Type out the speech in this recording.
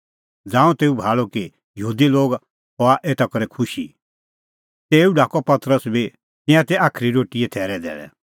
ज़ांऊं तेऊ भाल़अ कि यहूदी लोग हआ एता करै खुशी ता तेऊ ढाकअ पतरस बी तिंयां तै साज़ी रोटीए थैरे धैल़ै